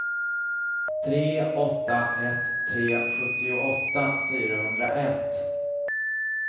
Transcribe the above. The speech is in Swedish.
tre åtta ett tre sjuttioåtta fyrahundraett